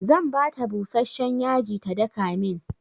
Zan bata busashshen yaji ta daka min.